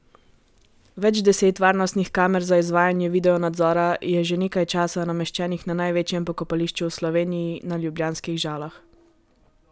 Več deset varnostnih kamer za izvajanje videonadzora je že nekaj časa nameščenih na največjem pokopališču v Sloveniji, na ljubljanskih Žalah.